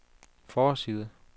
forside